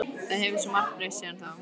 Það hefur svo margt breyst síðan þá.